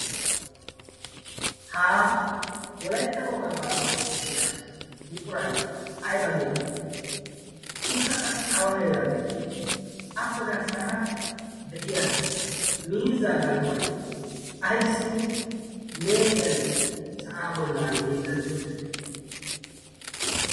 haa wolaitta wogaabaa qanccissiya buqurai aiba geetetii? ikka qassi awa heeran de7ii appe garssaara de7iya miiza galbbai aissi lee7iyan sa7aa bollan hiixetti uttide?